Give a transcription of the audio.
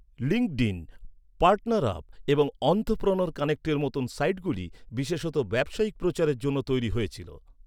LinkedIn, PartnerUp এবং entrepreneur কানেক্টের মতো সাইটগুলি বিশেষত ব্যবসায়িক প্রচারের জন্য তৈরি হয়েছিল।